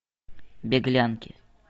беглянки